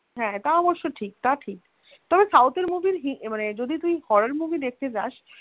হ্যাঁ তা অবশ্য ঠিক তা ঠিক. তবে south এর movie ~ যদি মানে তুই horror movie দেখতে যাস